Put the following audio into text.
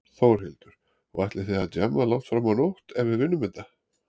Þórhildur: Og ætlið þið að djamma langt fram á nótt ef við vinnum þetta?